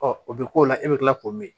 o bɛ k'o la e bɛ kila k'o min